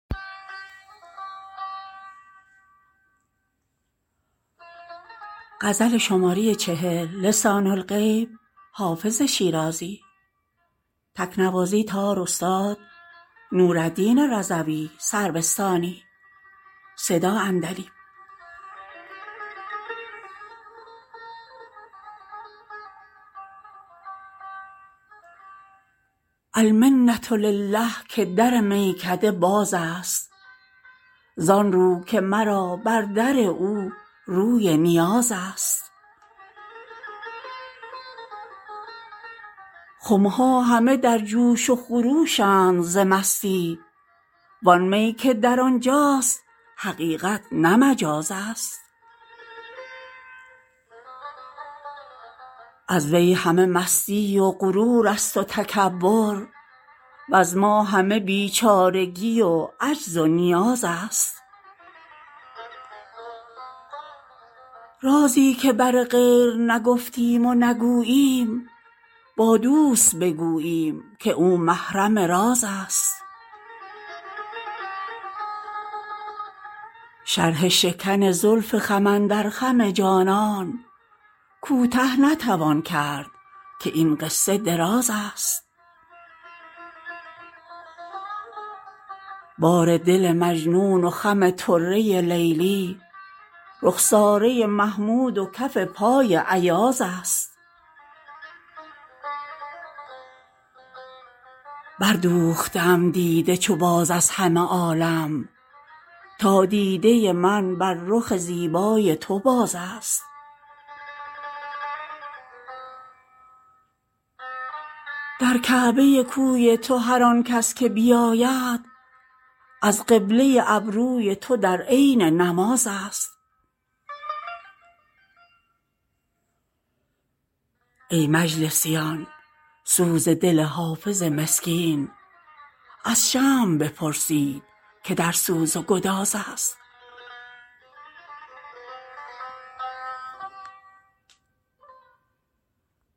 المنة لله که در میکده باز است زان رو که مرا بر در او روی نیاز است خم ها همه در جوش و خروش اند ز مستی وان می که در آن جاست حقیقت نه مجاز است از وی همه مستی و غرور است و تکبر وز ما همه بیچارگی و عجز و نیاز است رازی که بر غیر نگفتیم و نگوییم با دوست بگوییم که او محرم راز است شرح شکن زلف خم اندر خم جانان کوته نتوان کرد که این قصه دراز است بار دل مجنون و خم طره لیلی رخساره محمود و کف پای ایاز است بردوخته ام دیده چو باز از همه عالم تا دیده من بر رخ زیبای تو باز است در کعبه کوی تو هر آن کس که بیاید از قبله ابروی تو در عین نماز است ای مجلسیان سوز دل حافظ مسکین از شمع بپرسید که در سوز و گداز است